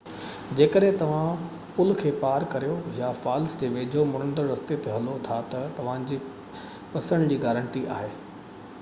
جيڪڏهن توهان پل کي پار ڪريو يا فالس جي ويجهو مڙندڙ رستي تي هلو ٿا ته توهانجي پسڻ جي گارنٽي آهي